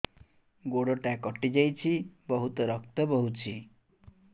ଗୋଡ଼ଟା କଟି ଯାଇଛି ବହୁତ ରକ୍ତ ବହୁଛି